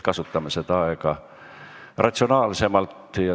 Kasutame aega ratsionaalsemalt.